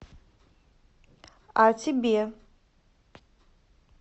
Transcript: а тебе